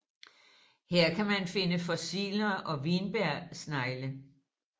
Her kan man finde fossiler og vinbjergsnegle